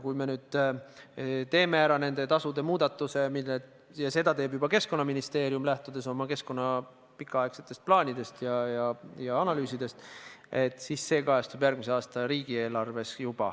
Kui me nüüd teeme ära nende tasude muudatuse – ja seda teeb juba Keskkonnaministeerium, lähtudes oma pikaaegsetest plaanidest ja analüüsidest –, siis see kajastub juba järgmise aasta riigieelarves.